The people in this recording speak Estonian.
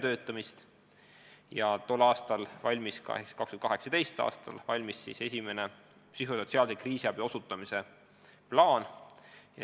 Samal aastal ehk siis 2018. aastal valmiski esimene psühhosotsiaalse kriisiabi osutamise plaan.